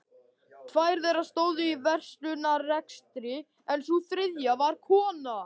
Tvær þeirra stóðu í verslunarrekstri en sú þriðja var kona